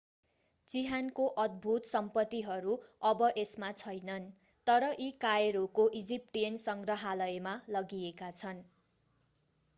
चिहानको अद्भुत सम्पत्तिहरू अब यसमा छैनन् तर यी कायरोको इजिप्टियन सङ्ग्रहालयमा लगिएका छन्